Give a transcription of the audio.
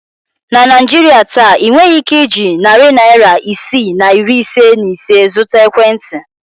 Na Naijiria taa, ị nweghị ike iji narị naịra isii na iri ise na ise zụta ekwentị.